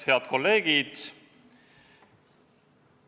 Head kolleegid!